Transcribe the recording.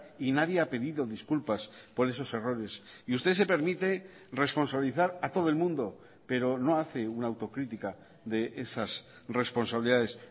y nadie ha pedido disculpas por esos errores y usted se permite responsabilizar a todo el mundo pero no hace una autocrítica de esas responsabilidades